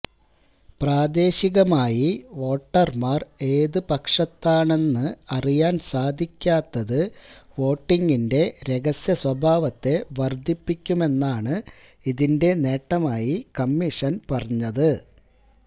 പ്രാദേശികമായി വോട്ടര്മാര് ഏതു പക്ഷത്താണെന്ന് അറിയാന് സാധിക്കാത്തത് വോട്ടിങ്ങിന്റെ രഹസ്യസ്വഭാവത്തെ വര്ധിപ്പിക്കുമെന്നാണ് ഇതിന്റെ നേട്ടമായി കമ്മീഷന് പറഞ്ഞത്